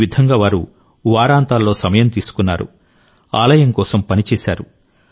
ఈ విధంగా వారు వారాంతాల్లో సమయం తీసుకున్నారు ఆలయం కోసం పనిచేశారు